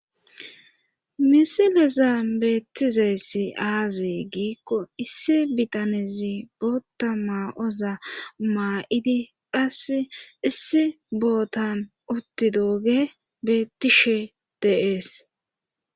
misilezan beettizayssi aaze giikko issi bitanezi boota maa7oza maa7idi qasse issi botan uttidooge beettishe de7es